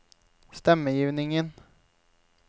stemmegivningen